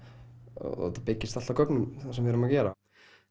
og byggist allt á gögnum sem við erum að gera